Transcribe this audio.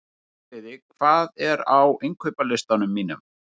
Veturliði, hvað er á innkaupalistanum mínum?